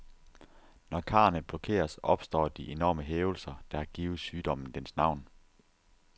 Når karrene blokeres, opstår de enorme hævelser, der har givet sygdommen dens navn.